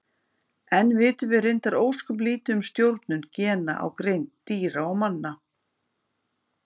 Enn vitum við reyndar ósköp lítið um stjórnun gena á greind dýra og manna.